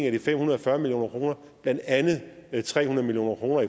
af de fem hundrede og fyrre million kr blandt andet er tre hundrede million kroner